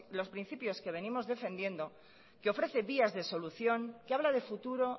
los principios que venimos defendiendo que ofrece vías de solución que habla de futuro